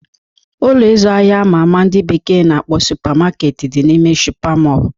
Ụlọ ịzụ ahịa ama ama ndị bekee na-akpọ Supa Maketi dị n'ime Supa Mọl